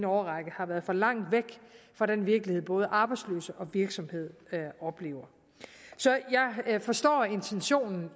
årrække har været for langt væk fra den virkelighed både arbejdsløse og virksomheder oplever så jeg forstår intentionen